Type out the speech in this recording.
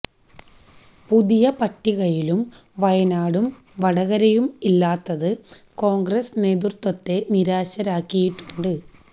പുതിയ പട്ടികയിലും വയനാടും വടകരയും ഇല്ലാത്തത് കോണ്ഗ്രസ് നേതൃത്വത്തെ നിരാശരാക്കിയിട്ടുണ്ട്